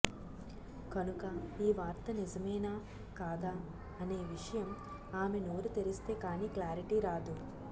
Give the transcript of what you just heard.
కనుక ఈ వార్త నిజమేనా కాదా అనే విషయం ఆమె నోరు తెరిస్తే కాని క్లారిటీ రాదు